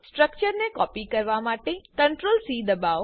સ્ટ્રક્ચરને કોપી કરવા માટે CTRL C દબાઓ